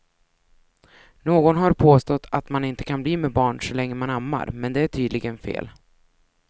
Någon har påstått att man inte kan bli med barn så länge man ammar, men det är tydligen fel.